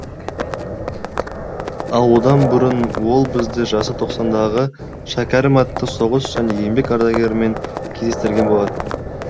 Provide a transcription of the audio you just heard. ал одан бұрын ол бізді жасы тоқсандағы шәкәрім атты соғыс және еңбек ардагерімен кездестірген болатын